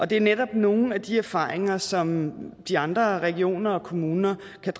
det er netop nogle af de erfaringer som de andre regioner og kommuner